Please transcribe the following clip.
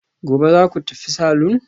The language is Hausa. Gobe ​​zaku tafi salon?